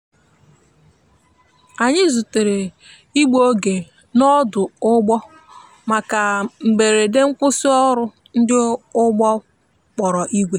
anyi zutere igbụ oge n' odu‐ụgbọ maka mgberede nkwụsi ọrụ ndi ụgbọ kpọrọ igwe